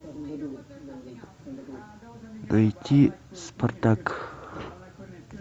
найти спартак